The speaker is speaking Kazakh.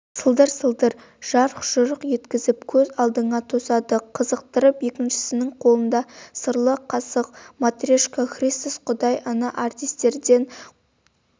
сылдыр-сылдыр жарқ-жұрқ еткізіп көз алдыңа тосады қызықтырып екіншісінің қолында сырлы қасық матрешка христос құдай ана артистерден